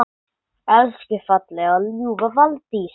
Elsku fallega og ljúfa Valdís!